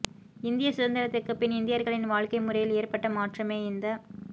இந்திய சுதந்திரத்துக்குப் பின் இந்தியர்களின் வாழ்க்கை முறையில் ஏற்பட்ட மாற்றமே இந்த